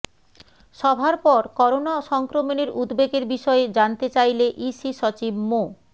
সভার পর করোনা সংক্রমণের উদ্বেগের বিষয়ে জানতে চাইলে ইসি সচিব মো